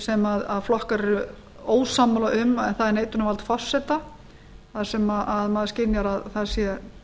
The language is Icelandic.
sem flokkar eru ósammála um það er neitunarvald forseta þar sem maður skynjar að það sé